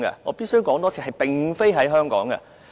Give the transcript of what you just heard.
我必須重申，是並非在香港。